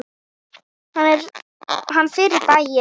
Hann fer í bæinn!